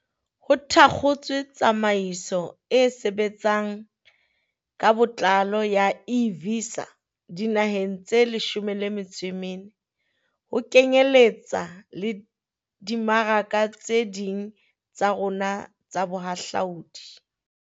Ho thakgotswe tsamaiso e sebtsang ka botlalo ya e-Visa dinaheng tse leshome le metso e mene ho kenyeletsa le dimmaraka tse ding tsa rona tsa bohahlaodi.